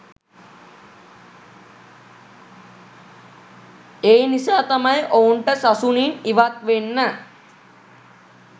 ඒ නිසා තමයි ඔවුන්ට සසුනින් ඉවත් වෙන්න